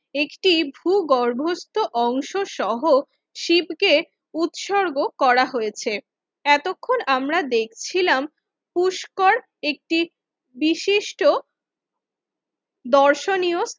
একটি ভূগর্ভস্থ অংশ সহ শিবকে উৎসর্গ করা হয়েছে এতক্ষণ আমরা দেখছিলাম পুষ্কর একটি বিশিষ্ট দর্শনীয়